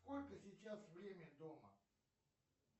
сколько сейчас время дома